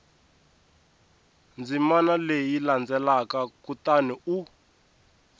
ndzimana leyi landzelaka kutani u